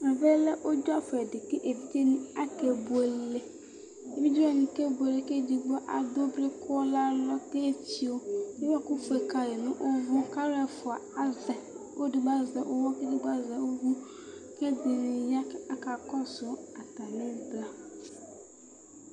Ɛvɛ ʋdzɔfʋ ɛdɩ kʋ evidze ni akebuele Evidze wani kebuele kʋ edigbo adʋblɩ, kʋ alɔ, kʋ efio Ʋwɔkʋ efio kayɩ dʋ nʋ ʋvʋ, kʋ alu ɛfʋa azɛ yɩ Ɔlʋedigbo azɛ ʋwɔ kʋ ɔlʋedigbo azɛ ʋvʋ Kʋ ɛdɩnɩ ya, aka kɔsʋ atamivla